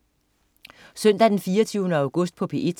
Søndag den 24. august - P1: